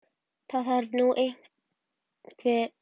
Það þarf nú einhver að passa grislingana.